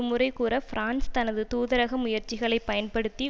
முறைகூட France தனது தூதரக முயற்சிகளை பயன்படுத்தி